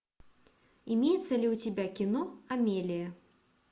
имеется ли у тебя кино амелия